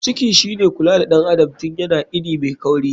Ciki shine kula da ɗan adam tun yana ini mai kauri.